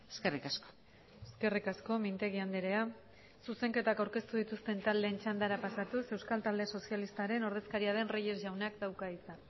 eskerrik asko eskerrik asko mintegi andrea zuzenketak aurkeztu dituzten taldeen txandara pasatuz euskal talde sozialistaren ordezkaria den reyes jaunak dauka hitza